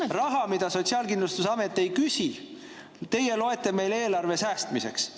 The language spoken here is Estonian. Ehk raha, mida Sotsiaalkindlustusamet ei küsi, loete teie eelarves säästmiseks.